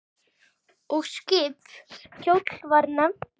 Og skip kjóll var nefnt.